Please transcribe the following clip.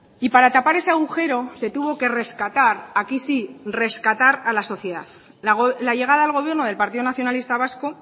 y para tapar ese agujero se tuvo que rescatar aquí sí rescatar a la sociedad la llegada al gobierno del partido nacionalista vasco